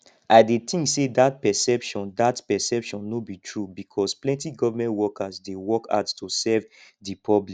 i dey think say dat perception dat perception no be true because plenty government workers dey work hard to serve di public